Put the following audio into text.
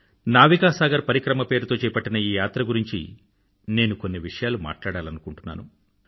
నావికా సాగర్ పరిక్రమ పేరుతో చేపట్టిన ఈ యాత్ర గురించి నేను కొన్ని విషయాలు మాట్లాడాలనుకుంటున్నాను